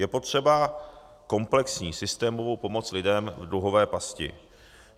Je potřeba komplexní systémovou pomoc lidem v dluhové pasti.